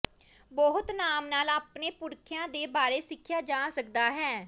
ਬਹੁਤ ਨਾਮ ਨਾਲ ਆਪਣੇ ਪੁਰਖਿਆ ਦੇ ਬਾਰੇ ਸਿੱਖਿਆ ਜਾ ਸਕਦਾ ਹੈ